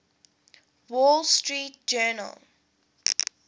wall street journal